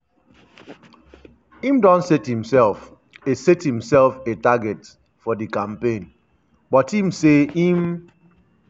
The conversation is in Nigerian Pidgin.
im don set imsef a set imsef a target for di campaign but im say im